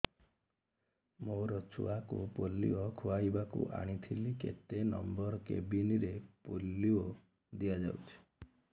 ମୋର ଛୁଆକୁ ପୋଲିଓ ଖୁଆଇବାକୁ ଆଣିଥିଲି କେତେ ନମ୍ବର କେବିନ ରେ ପୋଲିଓ ଦିଆଯାଉଛି